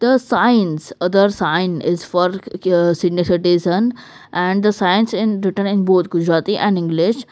the signs other sign is for k-uhh senior citizen and the signs in written in both Gujarati and English.